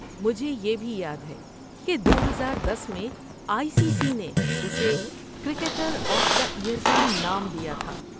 مجھے یہ بھی یاد ہے کہ دوہزار دس میں آئی سی سی نے اسے 'کرکٹر آف دی ایئر' کا نام دیا تھا